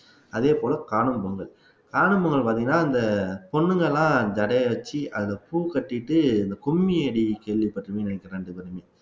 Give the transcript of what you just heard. அதே போல காணும் பொங்கல் காணும் பொங்கல் பார்த்தீங்கன்னா அந்த பொண்ணுங்க எல்லாம் ஜடையை வச்சு அதுல பூ கட்டிட்டு அந்த கும்மியடி கேள்விபட்டுருப்பீங்கன்னு நினைக்கிறேன் ரெண்டு பேருமே